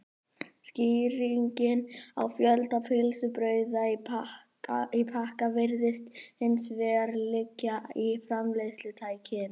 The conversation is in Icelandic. Skýringin á fjölda pylsubrauða í pakka virðist hins vegar liggja í framleiðslutækninni.